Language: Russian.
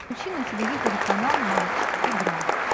включи на телевизоре канал матч игра